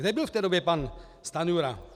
Kde byl v té době pan Stanjura?